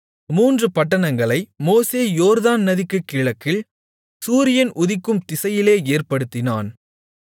மூன்று பட்டணங்களை மோசே யோர்தான் நதிக்கு கிழக்கில் சூரியன் உதிக்கும் திசையிலே ஏற்படுத்தினான்